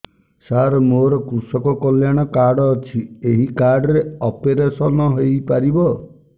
ସାର ମୋର କୃଷକ କଲ୍ୟାଣ କାର୍ଡ ଅଛି ଏହି କାର୍ଡ ରେ ଅପେରସନ ହେଇପାରିବ